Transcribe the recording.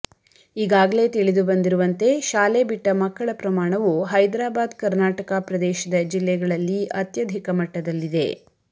ಈಗಾಗಲೇ ತಿಳಿದುಬಂದಿರುವಂತೆ ಶಾಲೆ ಬಿಟ್ಟ ಮಕ್ಕಳ ಪ್ರಮಾಣವು ಹೈದರಾಬಾದ್ಕರ್ನಾಟಕ ಪ್ರದೇಶದ ಜಿಲ್ಲೆಗಳಲ್ಲಿ ಅತ್ಯಧಿಕ ಮಟ್ಟದಲ್ಲಿದೆ